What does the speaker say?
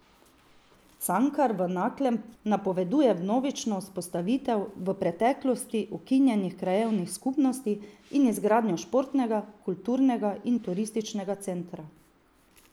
Cankar v Naklem napoveduje vnovično vzpostavitev v preteklosti ukinjenih krajevnih skupnosti in izgradnjo športnega, kulturnega in turističnega centra.